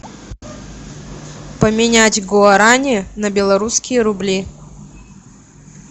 поменять гуарани на белорусские рубли